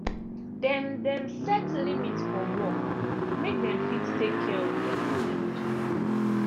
dem dem set limit for work make dem fit take care of dem mind.